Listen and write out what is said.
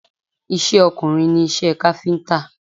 Iṣẹ́ ọkùnrin ni iṣẹ́ káfíńtà